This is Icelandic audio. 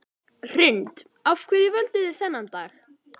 Hrund: Af hverju völduð þið þennan dag?